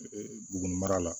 Bugun mara la